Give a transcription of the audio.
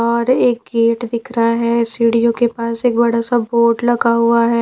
और एक गेट दिख रहा है सीढ़ियों के पास एक बड़ा सा बोर्ड लगा हुआ है।